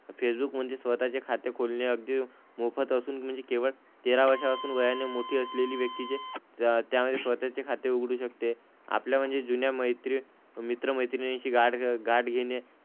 Facebook मध्ये स्वतःचे खाते खोलणे अगदी मोफत असून, म्हणजे केवळ तेरा वर्षांपासून वयाने मोठी असलेली व्यक्तीच त्यामध्ये स्वतःचे खाते उघडू शकते. आपल्या म्हणजे जुन्या मित्र मित्र-मैत्रिणींशी गाठ घ गाठ घेणे,